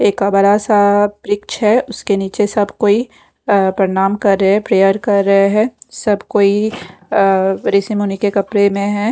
एक बड़ा सा वृक्ष है उसके नीचे सब कोई प्रणाम कर रहे हैं प्रेयर कर रहे हैं सब कोई आ ऋषि-मुनी के कपड़े में है।